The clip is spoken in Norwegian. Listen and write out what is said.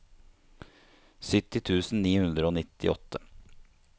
sytti tusen ni hundre og nittiåtte